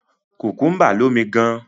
Kùkúḿbà lómi gan.